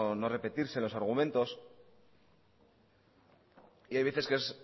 no repetirse los argumentos y hay veces que es